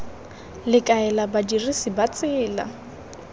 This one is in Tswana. le kaela badirisi ba tsela